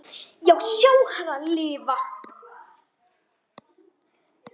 Já, sjá hana lifa.